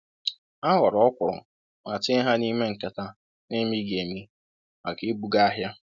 O ghọọrọ ọkwụrụ ma tinye ha n'ime nkata n'emighị emi maka ibuga ahịa.